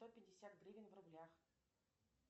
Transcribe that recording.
сто пятьдесят гривен в рублях